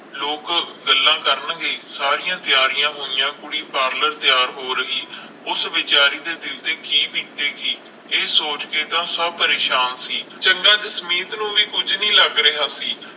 ਲੋਕ ਗਲਾ ਕਰਨਗੇ ਸਾਰੀਆਂ ਤਿਆਰੀਆਂ ਹੋਇਆ ਕੁੜੀ ਪਾਰਲਰ ਤਿਆਰ ਹੋ ਰਹੀ ਉਸ ਵਿਚਾਰੀ ਦੇ ਦਿਲ ਤੇ ਕਿ ਬੀਤੇ ਗੀ ਇਹ ਸੋਚ ਕੇ ਤਾ ਸਭ ਪ੍ਰੇਸ਼ਾਨ ਸੀ ਚੰਗਾ ਜਸਮੀਤ ਨੂੰ ਵੀ ਕੁਝ ਨਹੀਂ ਲਗ ਰਿਹਾ ਸੀ